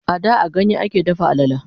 a da a ganye a ke dafa alala